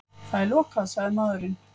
Það er lokað, sagði maðurinn.